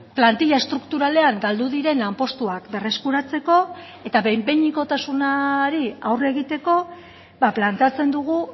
plantilla estrukturalean galdu diren lanpostuak berreskuratzeko eta behin behinekotasunari aurre egiteko planteatzen dugu